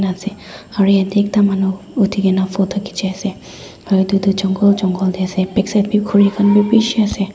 nanse aru yat teh ekta manu uthi kena photo khichi ase aru etu tu jangol jangol teh ase backside khori khan bhi bishi ase.